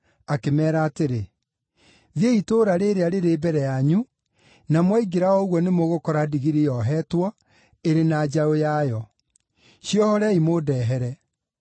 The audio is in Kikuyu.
akĩmeera atĩrĩ, “Thiĩi itũũra rĩrĩa rĩrĩ mbere yanyu, na mwaingĩra o ũguo nĩmũgũkora ndigiri yohetwo, ĩrĩ na njaũ yayo. Ciohorei mũndehere.